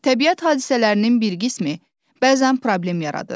Təbiət hadisələrinin bir qismi bəzən problem yaradır.